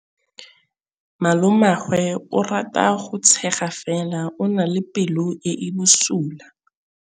Malomagwe o rata go tshega fela o na le pelo e e bosula.